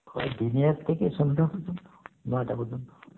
থেকে সন্ধ্যা পর্যন্ত নটা পর্যন্ত